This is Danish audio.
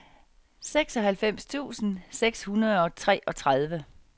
seksoghalvfems tusind seks hundrede og treogtredive